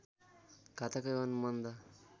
घातक एवं मन्द